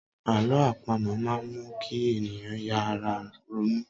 Àlọ́ àpamọ máa n mu kí ènìyàn yára ronú